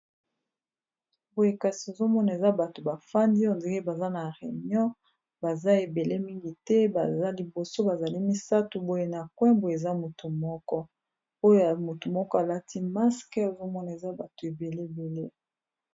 Boye kasi nazomona eza batu bafandi on dirait baza nakati ya réunion baza mingi baza misatu na coin koza mutu moko alati masque ozomona baza ebele.